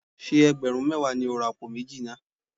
Ṣé ẹgbẹ̀rún mẹ́wàá ni ó ra àpò méjì náà?